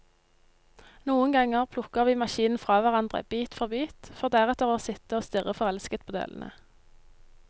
Noen ganger plukker vi maskinen fra hverandre, bit for bit, for deretter å sitte og stirre forelsket på delene.